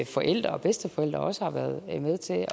forældre og bedsteforældre også har været med til